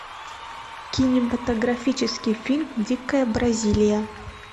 кинематографический фильм дикая бразилия